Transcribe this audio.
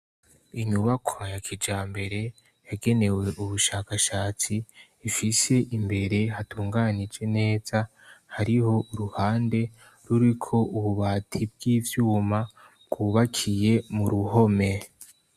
Inyubakwa ya kijambere yagenewe ubushakashatsi ifise imbere hatunganije neza hariho uruhande ruriko ububati bw'ivyuma bwubakiye mu ruhome.